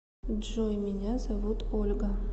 джой меня зовут ольга